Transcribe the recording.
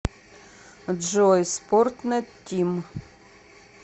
джой спортнет тим